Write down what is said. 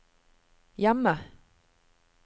hjemme